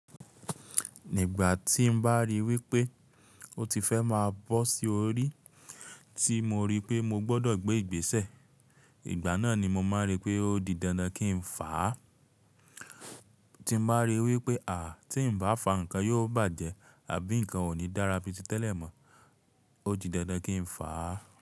Nígbà tí mo bá ríi wípé ó ti fẹ́ máa bọ́ sí orí, tí mo rí pé mo gbọdọ̀ gbé ìgbésẹ̀, ìgbà náà ni mo máa rí pé ó di dandan kí n fàá. Tí mo bá rí i wípé à tí ń bá fà á, nǹkan yóò bàjẹ́ àbí nǹkan ò ní dára bíi tí tẹ́lẹ̀ mọ́, ó di dandan kí n fà á.